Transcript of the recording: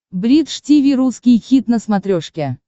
бридж тиви русский хит на смотрешке